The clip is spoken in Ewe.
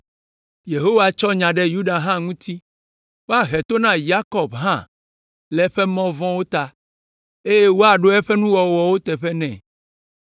Yehowa tsɔ nya ɖe Yuda hã ŋuti. Woahe to na Yakob hã le eƒe mɔ vɔ̃wo ta, eye woaɖo eƒe nuwɔnawo teƒe nɛ.